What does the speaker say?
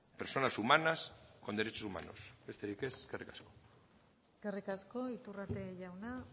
personas humanas con derechos humanos besterik ez eskerrik asko eskerrik asko iturrate jauna